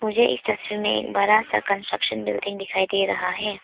मुझे इस तस्वीर में एक बड़ा सा कंस्ट्रक्शन बिल्डिंग दिखाई दे रहा है।